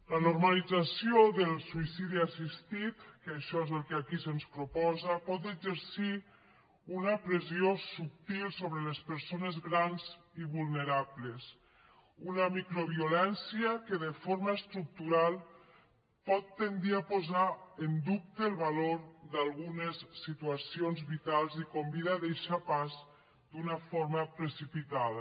la normalització del suïcidi assistit que això és el que aquí se’ns proposa pot exercir una pressió subtil sobre les persones grans i vulnerables una microviolència que de forma estructural pot tendir a posar en dubte el valor d’algunes situacions vitals i convida a deixar pas d’una forma precipitada